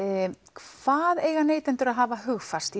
hvað eiga neytendur að hafa hugfast í